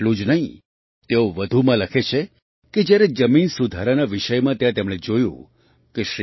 એટલું જ નહીં તેઓ વધુમાં લખે છે કે જ્યારે જમીન સુધારાના વિષયમાં ત્યાં તેમણે જોયું કે